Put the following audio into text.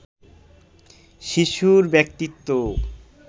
শিশুর ব্যক্তিত্ব